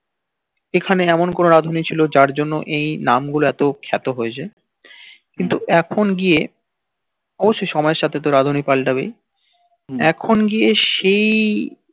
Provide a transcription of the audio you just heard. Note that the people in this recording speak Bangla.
এখানে এমন কোন রাঁধুনি ছিল যার জন্য এই নাম গুল খ্যাত হয়েছে কিন্তু এখুন গিয়ে অবস্য সময়ের সাথে তো রাঁধুনি পালাবেই এখুন গিয়ে সেই